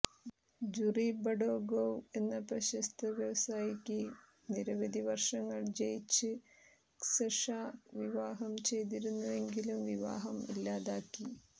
jury ബഡോഗോവ് എന്ന പ്രശസ്ത വ്യവസായിക്ക് നിരവധി വർഷങ്ങൾ ജയിച്ച് ക്സഷാ വിവാഹം ചെയ്തിരുന്നുവെങ്കിലും വിവാഹം ഇല്ലാതാക്കി